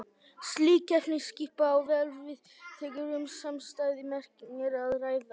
Slík efnisskipan á vel við þegar um samstæða merkingu er að ræða.